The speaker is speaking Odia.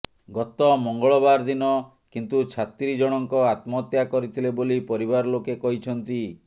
ଗତ ମଙ୍ଗଳବାର ଦିନ କିନ୍ତୁ ଛାତ୍ରୀ ଜଣଙ୍କ ଆତ୍ମହତ୍ୟା କରିଥିଲେ ବୋଲି ପରିବାର ଲୋକେ କହିଛନ୍ତି